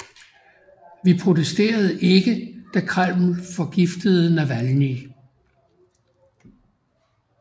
Vi protesterede ikke da Kreml forgiftede Navalnyj